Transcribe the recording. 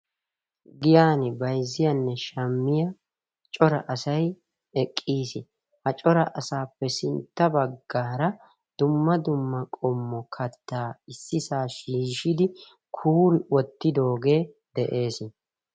Giyan bayzziyanne shammiya cora asay eqqiis. Ha cora asaappe sintta baggaara dumma dumma qommo kattaa issisaa shiishshidi kuuri wottidoogee de'ees.